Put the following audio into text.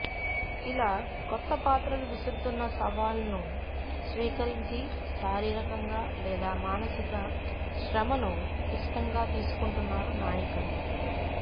ఇలా కొత్త పాత్రలు విసురుతున్న సవాల్ను స్వీకరించి శారీరకంగా లేదా మానసిక శ్రమను ఇష్టంగా తీసుకుంటున్నారు నాయికలు